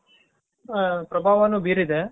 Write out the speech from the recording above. ಪ್ರಭಾವಾನು ಬೀರಿದೆ